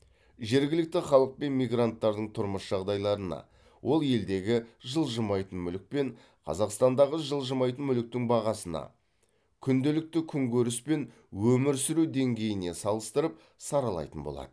жергілікті халық пен мигранттардың тұрмыс жағдайларына ол елдегі жылжымайтын мүлік пен қазақстандағы жылжымайтын мүліктің бағасына күнделікті күнкөріс пен өмір сүру деңгейіне салыстырып саралайтын болады